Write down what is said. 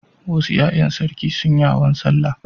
Wasu ƴaƴan sarki sun yi hawan sallah.